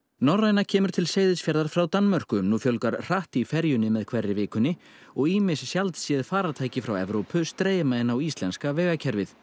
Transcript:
norræna kemur til Seyðisfjarðar frá Danmörku nú fjölgar hratt í ferjunni með hverri vikunni og ýmis sjaldséð faratæki frá Evrópu streyma inn á íslenska vegakerfið